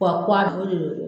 wa